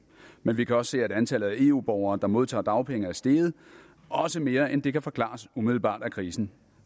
men vi kan også se at antallet af eu borgere der modtager dagpenge er steget også mere end det der kan forklares umiddelbart af krisen